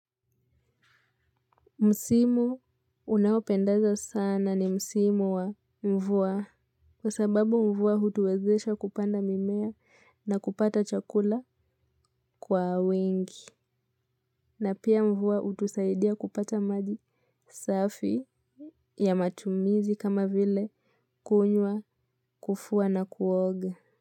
Msimu unaopendazo sana ni msimu wa mvua kwa sababu mvua hutuwezesha kupanda mimea na kupata chakula kwa wingi. Na pia. Mvua hutusaidia kupata maji safi ya matumizi kama vile kunywa, kufua na kuoga.